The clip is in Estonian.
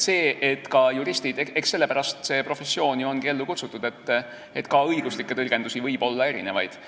Eks sellepärast see professioon olegi ellu kutsutud, et ka õiguslikke tõlgendusi võib olla erinevaid.